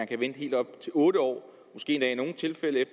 kan vente helt op til otte år måske endda i nogle tilfælde